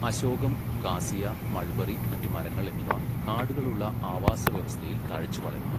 അശോകം, cassia, mulberry, മറ്റ് മരങ്ങൾ എന്നിവ കാടുകളുള്ള ആവാസവ്യവസ്ഥയിൽ തഴച്ചുവളരുന്നു.